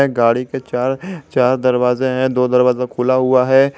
गाड़ी के चार चार दरवाजे हैं दो दरवाजा खुला हुआ है।